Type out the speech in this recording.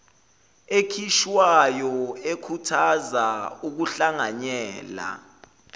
ekhishwayo ekhuthaza ukuhlanganyela